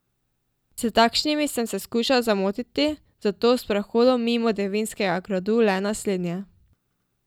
S takšnimi sem se skušal zamotiti, zato o sprehodu mimo Devinskega gradu le naslednje.